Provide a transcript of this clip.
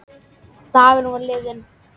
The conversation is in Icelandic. Dagurinn var liðinn.